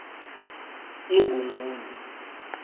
ingongoni